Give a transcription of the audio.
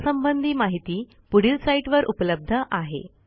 यासंबंधी माहिती पुढील साईटवर उपलब्ध आहे